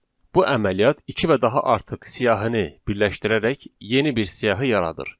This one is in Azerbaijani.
Bu əməliyyat iki və daha artıq siyahini birləşdirərək yeni bir siyahı yaradır.